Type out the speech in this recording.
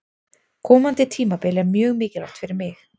Komandi tímabil er mjög mikilvægt fyrir mig.